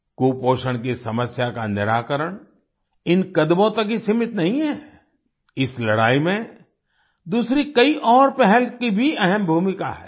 कुपोषण की समस्या का निराकरण इन कदमों तक ही सीमित नहीं है इस लड़ाई में दूसरी कई और पहल की भी अहम भूमिका है